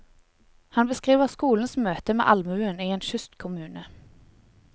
Han beskriver skolens møte med allmuen i en kystkommune.